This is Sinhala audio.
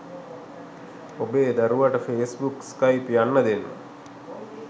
ඔබේ දරුවට ෆෙස්බුක් ස්කයිප් යන්න දෙන්න